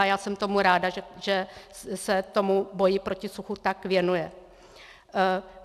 A já jsem tomu ráda, že se tomu boji proti suchu tak věnuje.